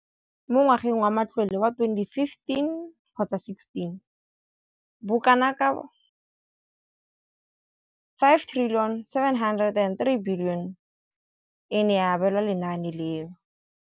Mo ngwageng wa matlole wa 2015,16, bokanaka R5 703 bilione e ne ya abelwa lenaane leno.